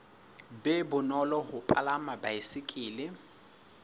be bonolo ho palama baesekele